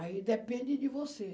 Aí depende de você.